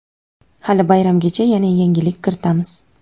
hali bayramgacha yana yangilik kiritamiz.